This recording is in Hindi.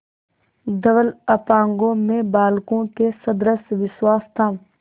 धवल अपांगों में बालकों के सदृश विश्वास था